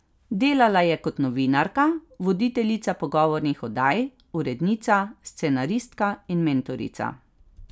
Delala je kot novinarka, voditeljica pogovornih oddaj, urednica, scenaristka in mentorica.